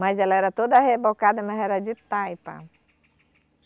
Mas ela era toda rebocada, mas era de taipa.